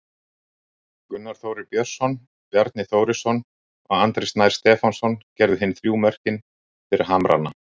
Gunnar Þórir Björnsson, Bjarni Þórisson og Andri Snær Stefánsson gerðu hin þrjú mörkin fyrir Hamrana.